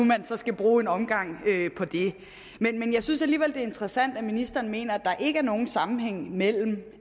skal bruge en omgang på det jeg synes alligevel er interessant at ministeren mener at der ikke er nogen sammenhæng mellem